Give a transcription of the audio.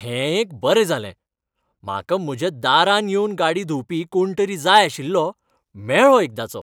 हें एक बरें जालें! म्हाका म्हज्या दारार येवन गाडी धुंवपी कोण तरी जाय आशिल्लो, मेळ्ळो एकदांचो.